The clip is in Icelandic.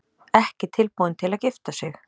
Ekki tilbúin til að gifta sig